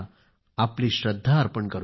आपली श्रद्धा अर्पित करूया